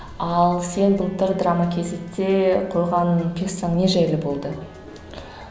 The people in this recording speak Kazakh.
ал сен былтыр драма кейзетте қойған пьессаң не жайлы болды